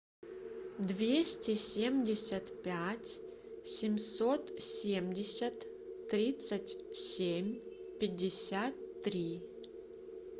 двести семьдесят пять семьсот семьдесят тридцать семь пятьдесят три